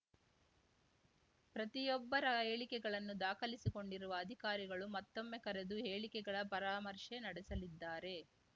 ಪ್ರತಿಯೊಬ್ಬರ ಹೇಳಿಕೆಗಳನ್ನು ದಾಖಲಿಸಿಕೊಂಡಿರುವ ಅಧಿಕಾರಿಗಳು ಮತ್ತೊಮ್ಮೆ ಕರೆದು ಹೇಳಿಕೆಗಳ ಪರಾಮರ್ಶೆ ನಡೆಸಲಿದ್ದಾರೆ